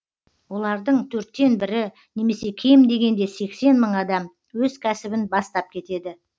олардың төрттен бірі немесе кем дегенде сексен мың адам өз кәсібін бастап кетеді